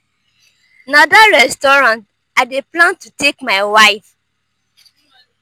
na dat restaurant i dey plan to take my wife